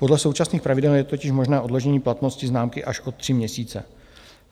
Podle současných pravidel je totiž možné odložení platnosti známky až od tři měsíce.